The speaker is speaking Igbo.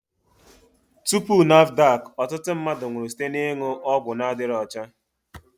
Tupu NAFDAC, ọtụtụ mmadụ nwụrụ site n'ịṅụ ọgwụ adịgboroja